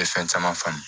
Bɛ fɛn caman faamu